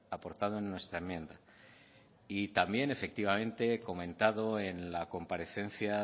aportado en nuestra enmienda y también efectivamente comentado en la comparecencia